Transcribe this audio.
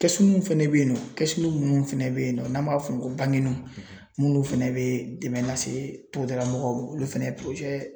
Kɛsu mun fɛnɛ bɛ yen nɔ kɛsu minnu fɛnɛ bɛ yen nɔ n'an b'a fɔ o ma ko banginuw n'ulu fana bɛ dɛmɛn lase togoda lamɔgɔw ma olu fana